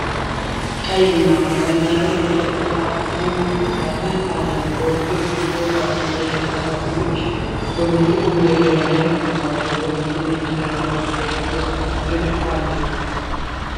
ቀይ ቡናማ ቀለም ያለው የእንጨት ቁምሳጥን አለ። በውስጡ የብርጭቆ ዕቃዎችና የሸክላ ሳህኖች በብርጭቆ መደርደሪያዎች ላይ ተቀምጠዋል። በጎን በኩል ነጭ ደረጃዎችና የቤት ውስጥ ተክል አሉአሉ።